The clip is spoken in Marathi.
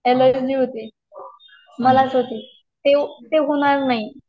ॲलर्जी होती मलाच होती ती होणार नाही.